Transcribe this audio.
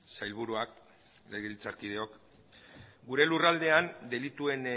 sailburuak legebiltzarkideok gure lurraldean delituen